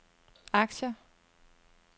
aktier